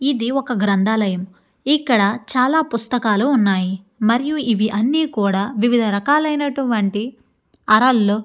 ఇది ఒక గ్రంథాలయం ఇక్కడ చాలా పుస్తకాలు ఉన్నాయి మరియు ఇవి అన్ని కూడా వివిధ రకాలైనటువంటి అరల్లో --